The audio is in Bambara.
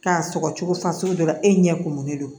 K'a sɔgɔ cogo fasugu dɔ la e ɲɛ kumunnen don